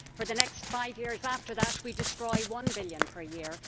for the next five years after that, we destroy EUR 1 billion per year